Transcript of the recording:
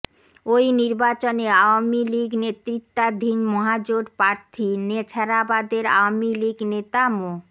ওই নির্বাচনে আওয়ামী লীগ নেতৃত্বাধীন মহাজোট প্রার্থী নেছারাবাদের আওয়ামী লীগ নেতা মো